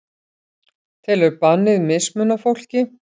Telur bannið mismuna fólki